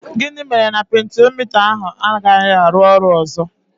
Gịnị mere na pentiomita ahụ anaghị arụ ọrụ ọzọ?